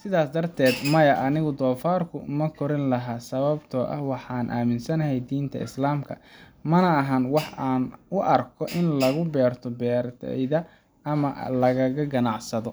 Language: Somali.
Sidaas darteed, maya, anigu doofarka ma kori lahaa sababtoo ah waxaan aaminsanahay diinta Islaamka, mana ahan wax aan u arko in lagu beerto beertayda ama lagaga ganacsado.